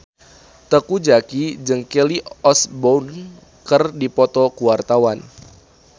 Teuku Zacky jeung Kelly Osbourne keur dipoto ku wartawan